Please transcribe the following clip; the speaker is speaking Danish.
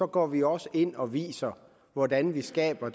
går vi også ind og viser hvordan vi skaber